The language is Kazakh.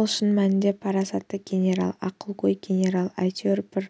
ол шын мәнінде парасатты генерал ақылгөй генерал әйтеуір бір